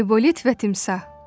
Aybolit və Timsah.